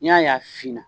N'i y'a ye a finna